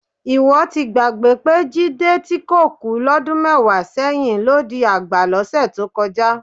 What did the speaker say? Ìwọ ti gbàgbé pé Jídé tí kò kú lọ́dún mẹ́wàá sẹ́yìn, ló di àgbà lọ́sẹ̀ tó kọjá